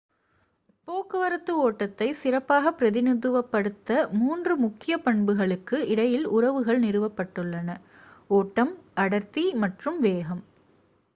போக்குவரத்து ஓட்டத்தை சிறப்பாக பிரதிநிதித்துவப்படுத்த மூன்று முக்கிய பண்புகளுக்கு இடையில் உறவுகள் நிறுவப்பட்டுள்ளன: 1 ஓட்டம் 2 அடர்த்தி மற்றும் 3 வேகம்